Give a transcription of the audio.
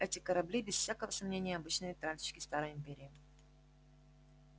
эти корабли без всякого сомнения обычные тральщики старой империи